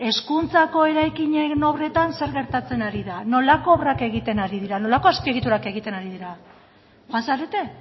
hezkuntzako eraikinek obretan zer gertatzen ari da nolako obrak egiten ari dira nolako azpiegiturak egiten ari dira joan zarete